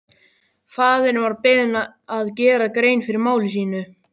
Faðirinn var beðinn að gera grein fyrir máli sínu.